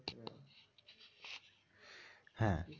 হ্যাঁ।